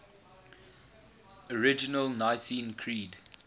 original nicene creed